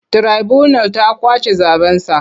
Tiraibunal ta ƙwace zaɓensa.